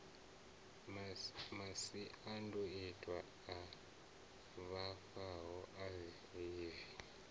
masiandoitwa a vhavhaho a hiv